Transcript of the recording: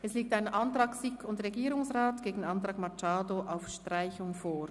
Es liegt ein Antrag SiK und Regierungsrat gegen einen Antrag Machado auf Streichung vor.